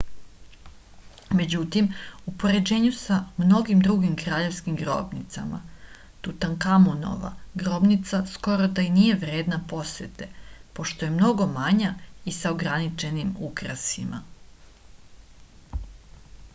međutim u poređenju sa mnogim drugim kraljevskim grobnicama tutankamonova grobnica skoro da i nije vredna posete pošto je mnogo manja i sa ograničenim ukrasima